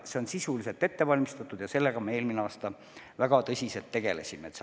Kõik on sisuliselt ette valmistatud ja sellega me eelmine aasta väga tõsiselt tegelesime.